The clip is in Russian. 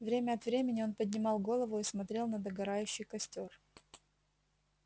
время от времени он поднимал голову и смотрел на догорающий костёр